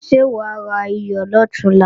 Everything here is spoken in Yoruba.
Ṣé wà á rayọ̀ lọ̀túnla?